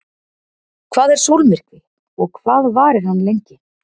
Hvað er sólmyrkvi og hvað varir hann lengi?